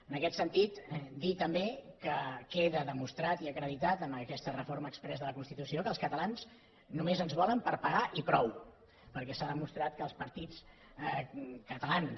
en aquest sentit dir també que queda demostrat i acreditat amb aquesta reforma exprés de la constitució que als catalans només ens volen per pagar i prou perquè s’ha demostrat que els partits catalans